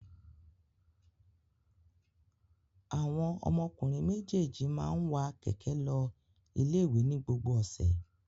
Àwọn ọmọkùnrin méjèèjì máa ń wa kẹ̀kẹ́ lọ ilé-ìwé ní gbogbo ọ̀sẹ̀.